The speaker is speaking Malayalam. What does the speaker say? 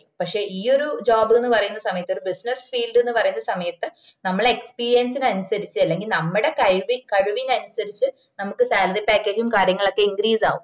പക്ഷേ ഈ ഒര് job ന്ന് പറയന്ന സമയത്ത് ഒര് business field ന് പറയണ സമയത്ത് നമ്മട experience ന് അനുസരിച് ഇല്ലെങ്കില് നമ്മടെ കഴിവിന് അനുസരിച് നമുക്ക് salary package ഉം കാര്യങ്ങളൊക്കെ increase ആവും